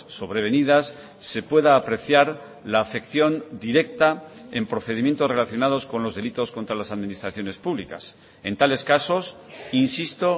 sobrevenidas se pueda apreciar la afección directa en procedimientos relacionados con los delitos contra las administraciones públicas en tales casos insisto